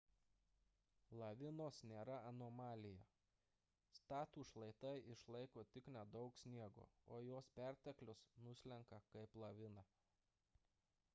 lavinos nėra anomalija statūs šlaitai išlaiko tik nedaug sniego o jo perteklius nuslenka kaip lavina